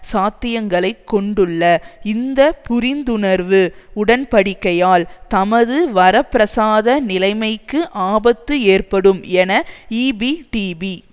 சாத்தியங்களைக் கொண்டுள்ள இந்த புரிந்துணர்வு உடன்படிக்கையால் தமது வரப்பிரசாத நிலைமைக்கு ஆபத்து ஏற்படும் என ஈபிடிபி